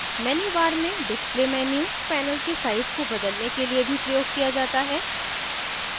menu bar में display menu panel के size को बदलने के लिए भी प्रयोग किया जा सकता है